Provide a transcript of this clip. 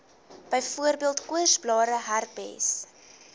byvoorbeeld koorsblare herpes